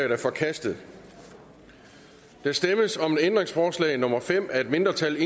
er forkastet der stemmes om ændringsforslag nummer fem af et mindretal